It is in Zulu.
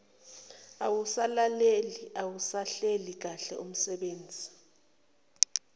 awusalaleli awusahleli kahleumsebenzi